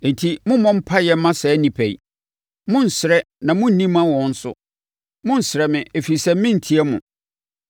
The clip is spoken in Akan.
“Enti mommmɔ mpaeɛ mma saa nnipa yi, monnsrɛ na monni mma wɔn nso; monnsrɛ me ɛfiri sɛ merentie mo.